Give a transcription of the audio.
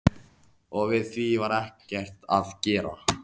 Og við því var ekkert að gera.